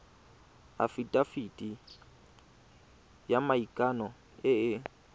afitafiti ya maikano e e